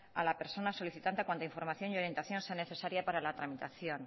a la persona solicitante cuanto información y orientación se haga necesaria para la tramitación